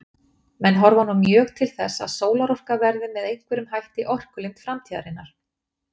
Menn horfa nú mjög til þess að sólarorka verði með einhverjum hætti orkulind framtíðarinnar.